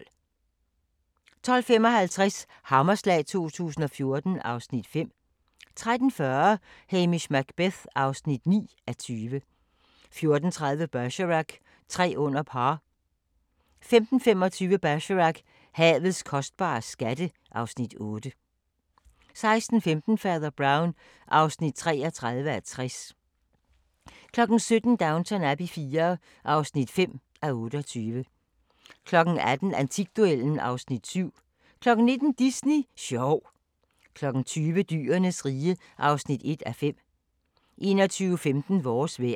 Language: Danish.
12:55: Hammerslag 2014 (Afs. 5) 13:40: Hamish Macbeth (9:20) 14:30: Bergerac: Tre under par 15:25: Bergerac: Havets kostbare skatte (Afs. 8) 16:15: Fader Brown (33:60) 17:00: Downton Abbey IV (5:28) 18:00: Antikduellen (Afs. 7) 19:00: Disney sjov 20:00: Dyrenes rige (1:5) 21:15: Vores vejr